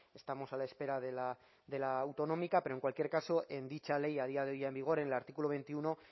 estamos a la espera de la autonómica pero en cualquier caso en dicha ley a día de hoy en vigor en el artículo veintiuno